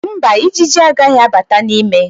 Mba, Ijiji agaghị abata n'ime